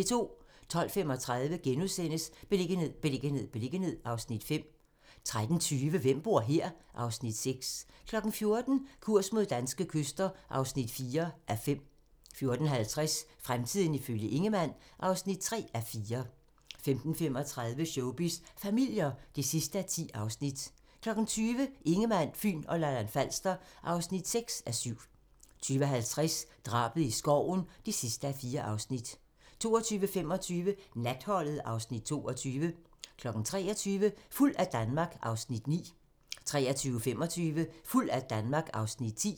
12:35: Beliggenhed, beliggenhed, beliggenhed (Afs. 5)* 13:20: Hvem bor her? (Afs. 6) 14:00: Kurs mod danske kyster (4:5) 14:50: Fremtiden ifølge Ingemann (3:4) 15:35: Showbiz familier (10:10) 20:00: Ingemann, Fyn og Lolland-Falster (6:7) 20:50: Drabet i skoven (4:4) 22:25: Natholdet (Afs. 22) 23:00: Fuld af Danmark (Afs. 9) 23:25: Fuld af Danmark (Afs. 10)